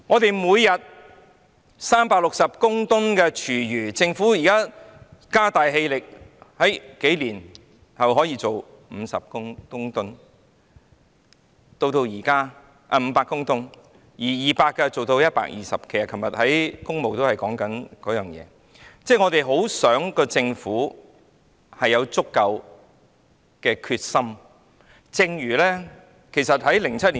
本港每天產生360公噸廚餘，政府現在加大力度，數年後便可處理500公噸，但現在200公噸卻變成120公噸，昨天我們在工務小組委員會正是討論這件事。